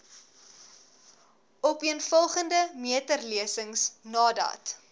opeenvolgende meterlesings nadat